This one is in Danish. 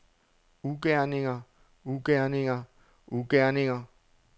ugerninger ugerninger ugerninger